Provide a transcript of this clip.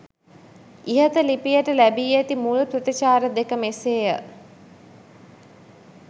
ඉහත ලිපියට ලැබී ඇති මුල් ප්‍රතිචාර දෙක මෙසේය